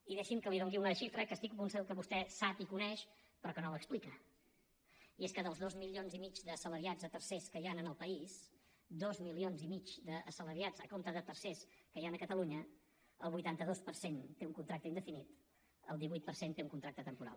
i deixi’m que li doni una xifra que estic segur que vostè sap i coneix però que no l’explica i és que dels dos milions i mig d’assalariats a tercers que hi han en el país dos milions i mig d’assalariats a compte de tercers que hi han a catalunya el vuitanta dos per cent té un contracte indefinit el divuit per cent té un contracte temporal